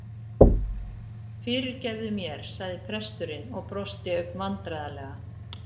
Fyrirgefðu mér- sagði presturinn og brosti ögn vandræðalega.